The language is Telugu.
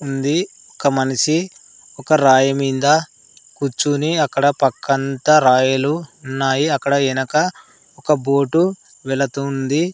ఉంది ఒక మనిషి ఒక రాయి మింద కూర్చుని అక్కడ పక్కంతా రాయలు ఉన్నాయి అక్కడ ఎనక ఒక బోటు వెలతుంది.